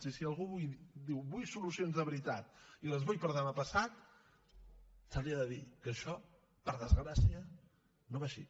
i si algú avui diu vull solucions de veritat i les vull per demà passat se li ha de dir que això per desgràcia no va així